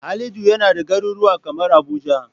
Halidu yana da garuruwa kamar Abuja.